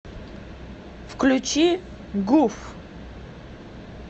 включи гуф